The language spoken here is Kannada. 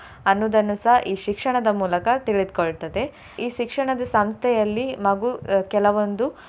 ಅನ್ನುದನ್ನಸ ಈ ಶಿಕ್ಷಣದ ಮೂಲಕ ತಿಳಿದುಕೊಳ್ತದೆ. ಈ ಶಿಕ್ಷಣದ ಸಂಸ್ಥೆಯಲ್ಲಿ ಮಗು ಅಹ್ ಕೆಲವೊಂದು.